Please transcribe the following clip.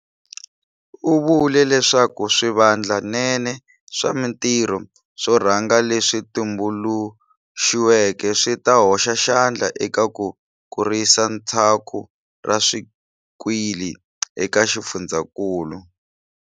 U vule leswaku swivandlanene swa mitirho swo rhanga leswi tumbuluxiweke swi ta hoxa xandla eka ku kurisa tshaku ra swikili eka xifundzankulu.